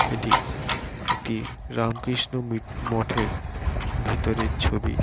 এটি একটি রামকৃষ্ণ মমঠের ভেতরের ছবি।